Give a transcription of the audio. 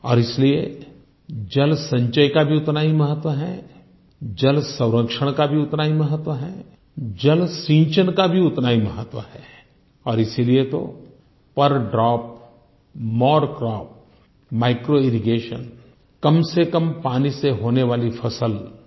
और इसलिए जलसंचय का भी उतना ही महत्व है जलसंरक्षण का भी उतना ही महत्व है जलसिंचन का भी उतना ही महत्व है और इसीलिये तो पेर ड्रॉपमोर क्रॉप माइक्रोइरिगेशन कमसेकम पानी से होने वाली फसल